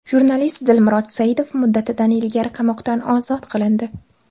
Jurnalist Dilmurod Saidov muddatidan ilgari qamoqdan ozod qilindi.